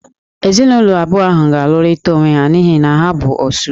Ezinụlọ abụọ ahụ ga-alụrịta onwe ha n'ihi na ha bụ "Osu"